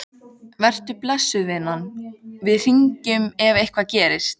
Vertu blessuð, vinan, við hringjum ef eitthvað gerist.